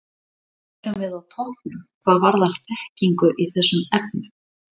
Erum við á toppnum hvað varðar þekkingu í þessum efnum?